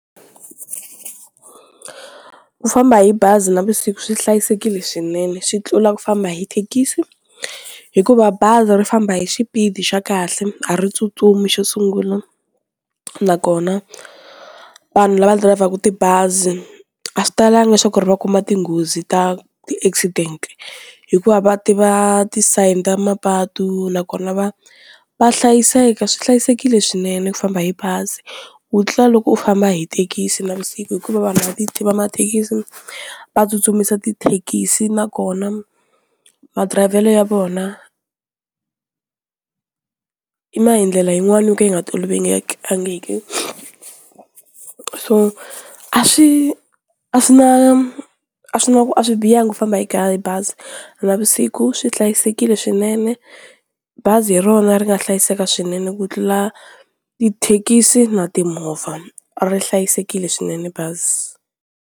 Ku famba hi bazi navusiku swi hlayisekile swinene swi tlula ku famba hi thekisi hikuva bazi ri famba hi xipidi xa kahle a ri tsutsumi xo sungula nakona vanhu lava dirayivhaka tibazi a swi talanga swa ku ri va kuma tinghozi ta ti accident hikuva va tiva ti sign ta mapatu nakona va va hlayiseka, swi hlayisekile swinene ku famba hi bazi ku tlula loko u famba hi thekisi navusiku hikuva vanhu va ti va mathekisi va tsutsumisa tithekisi nakona madirayivhelo ya vona i ma hi ndlela yin'wani yo ka yi nga tolovelekangiki, so a swi a swi na a swi na ku a swi bihangi ku famba bazi navusiku swi hlayisekile swinene bazi hi rona ri nga hlayiseka swinene ku tlula tithekisi na timovha ri hlayisekile swinene bazi.